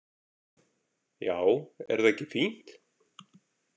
Já, er það ekki fínt?